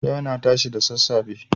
Yau na tashi da sassafe.